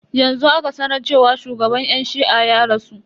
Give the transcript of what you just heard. Yanzu aka sanar cewa shugaban yan shi'a ya rasu.